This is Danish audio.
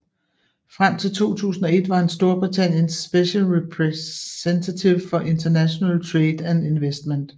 Frem til 2001 var han Storbritanniens Special Representative for International Trade and Investment